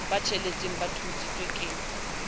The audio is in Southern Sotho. ba tsheletseng ba thontshweng ke